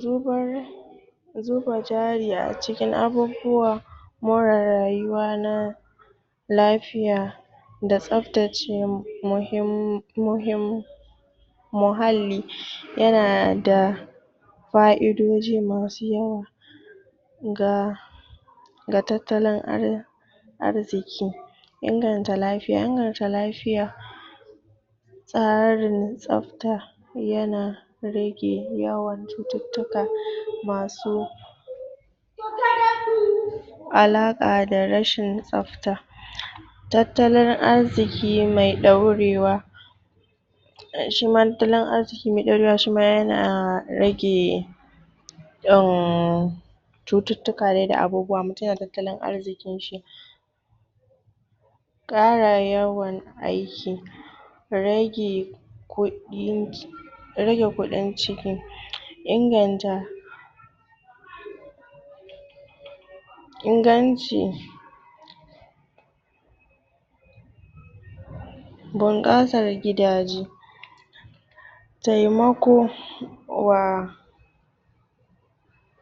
Zubar, zuba jari acikin abubuwa more rayuwa na lafiya da tsaftace muhim muhim um muhalli yana da fa'idoji masu yawa ga ga tattalin ar arziki. Inganta lafiya, inganta lafiya tsarin tsafta yana rage yawan cututtuka masu alaka da rashin tsafta. Tattalin arziki me dorewa, shima tattalin arziki me dorewa shima yana rage um cututtuka dai da abubuwa mutum da tattalin arzikin shi. ƙara yawan aiki, rage kudin rage kudin ciki, inganta inganci bunƙasar gidaje, taimako wa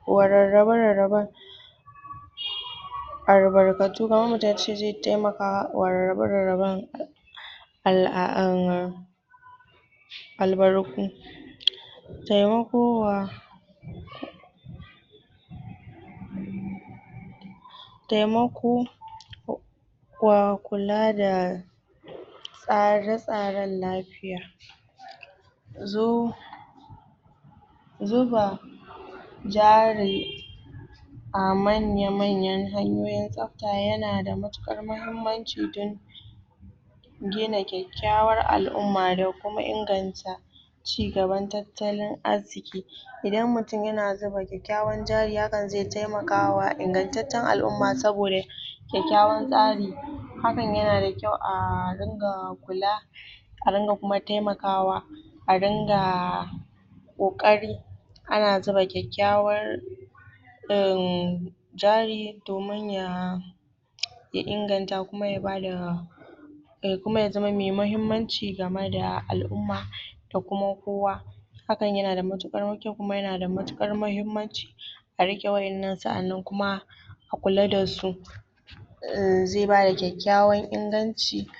wa rarrabe rarraben um albarkatu, kamar mutum yace zai taimaka wa rarrabe rarraben al'a um albarku, to amma kuma um temako um wa kulada tsare-tsaren lafiya. Zo, zuba jarin a manya manyan hanyoyin tsafta yana da matukar muhimmanci don gina kyakykyawar al'umma da kuma inganta cigaban tattalin arziki. Idan mutum yana zuba kyakykyawan jari hakan ze taimakwa ingantattun al'umma saboda kyakykyawan tsari hakan yanada kyau a ringa kula, a ringa kuma temakawa a ringa ƙoƙari ana zuba kyakykyawar um jari domin ya um ya inganta kuma ya bada kuma yazama me muhimmanci game da al-umma da kuma kowa hakan yana da matuƙar ƙyau kuma yana da matuƙar muhimmanci a rike wayan nan sa'anan kuma a kula dasu um ze bada kyakykyawan inganci um